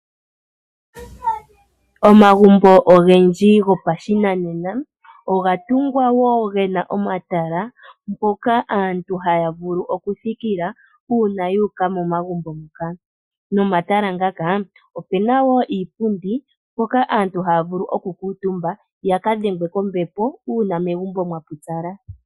Omagumbo ogendji gopashinanena oga tungwa wo gena omatala mpoka aantu haya vulu oku thikila uuna yu uka momagumbo moka. Nomatala ngaka opuna wo iipundi mpoka aantu haya vulu oku kuutumba yaka dhengwe kombepo uuna megumbo mwa pupyala.